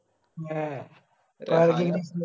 may